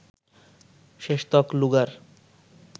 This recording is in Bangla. শেষতক লুগার